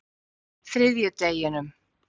þriðjudeginum